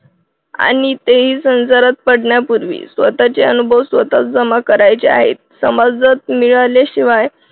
आणि तेही संसारात पडण्यापूर्वी स्वतःचे अनुभव स्वतः जमा करायचे आहेत समाजात मिळाल्याशिवाय